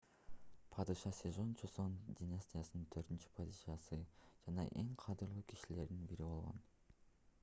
падыша сежон чосон династиянын 4-падышасы жана эң кадырлуу кишилердин бири болгон